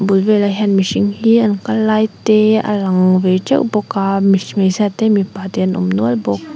bul velah hian mihring hi an kal lai te a kang ve teuh bawk a hmeichhia te mipa te an awm nual bawk.